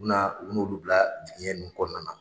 U na u bu n'olu bila tigiɲɛ nunnu kɔnɔna na.